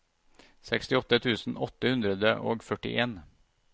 sekstiåtte tusen åtte hundre og førtien